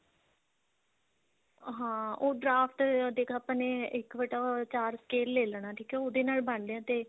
ਹਾਂ ਉਹ draft ਦੇਖ ਆਪਾਂ ਨੇ ਇੱਕ ਬਟਾ ਚਾਰ square ਲੈ ਲੈਣਾ ਠੀਕ ਹੈ ਉਹਦੇ ਨਾਲ ਬੰਨ ਲਿਆ ਤੇ